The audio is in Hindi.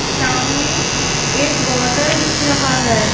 सामने एक बॉटल दिख रहा है।